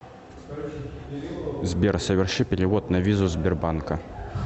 сбер соверши перевод на визу сбербанка